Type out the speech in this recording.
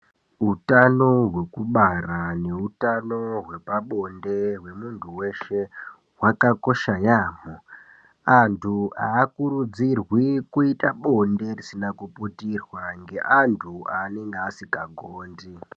Utano hwekubara neutano hwepabonde hwemuntu weshe hwakakosha yaamho. Antu aakurudzirwi kuite bonde risina kuputirwa neantu aanenge asikagondi.